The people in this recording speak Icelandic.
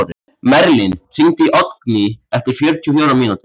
Merlin, hringdu í Oddgný eftir fjörutíu og fjórar mínútur.